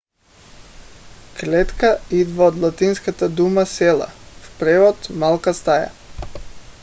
клетка идва от латинската дума cella в превод малка стая